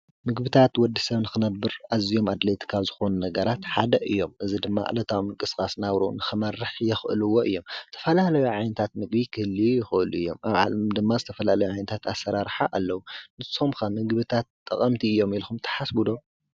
ምግቢታት ንወዲ ሰብ ንኽነብር እዚዮም አድለይቲ ካብ ዝኾኑ ነገራት ሓደ እዮም፡፡ እዚ ድማ ዕለታዊ ምንቅስቃስ ናብርኡ ንክመርሕ ዘኽእልዎ እዮም፡፡ ዝተፈላለዩ ዓይነታት ምግቢ ክህልዩ ይኽእሉ እዮም፡፡ አብ ዓለም ድማ ዝተፈላለየ ዓይነታት አሰራርሓ አለው፡፡ ንስኽም ኸ ምግቢታት ጠቀምቲ እዮም ኢልኩም ትሓስቡ ዶ?